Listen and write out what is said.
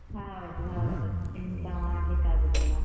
ಹೌದು ಹೌದು ಎಂತ ಮಾಡ್ಲಿಕ್ಕೆ ಆಗುದಿಲ್ಲ.